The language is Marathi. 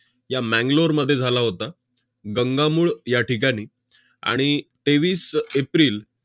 या मॅंगलोरमध्ये झाला होता गंगामूळ या ठिकाणी. आणि तेवीस एप्रिल